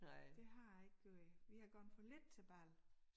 Det jeg har ikke gjort vi har gået for lidt til bal